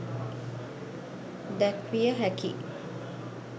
දැක්විය හැකි